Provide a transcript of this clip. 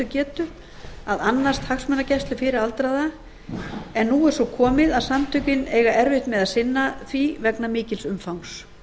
getu að annast hagsmunagæslu fyrir aldraða en nú er svo komið að samtökin eiga erfitt með að sinna því vegna mikils umfangs